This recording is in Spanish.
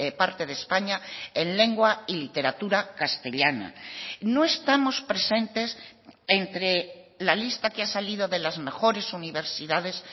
parte de españa en lengua y literatura castellana no estamos presentes entre la lista que ha salido de las mejores universidades